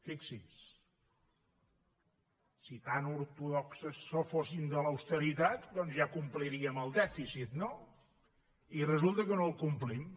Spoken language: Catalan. fixi s’hi si tan ortodoxos fóssim de l’austeritat doncs ja compliríem el dèficit no i resulta que no el complim